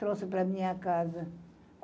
Trouxe para minha casa.